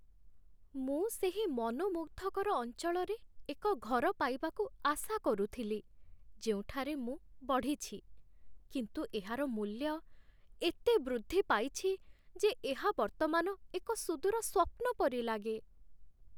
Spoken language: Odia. ମୁଁ ସେହି ମନୋମୁଗ୍ଧକର ଅଞ୍ଚଳରେ ଏକ ଘର ପାଇବାକୁ ଆଶା କରୁଥିଲି ଯେଉଁଠାରେ ମୁଁ ବଢ଼ିଛି, କିନ୍ତୁ ଏହାର ମୂଲ୍ୟ ଏତେ ବୃଦ୍ଧି ପାଇଛି ଯେ ଏହା ବର୍ତ୍ତମାନ ଏକ ସୁଦୂର ସ୍ୱପ୍ନ ପରି ଲାଗେ